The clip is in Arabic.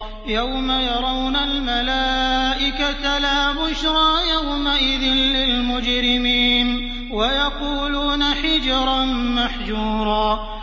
يَوْمَ يَرَوْنَ الْمَلَائِكَةَ لَا بُشْرَىٰ يَوْمَئِذٍ لِّلْمُجْرِمِينَ وَيَقُولُونَ حِجْرًا مَّحْجُورًا